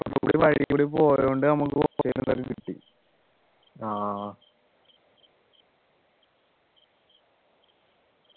വഴിക്കൂടെ പോയൊണ്ട് നമുക്ക് കിട്ടി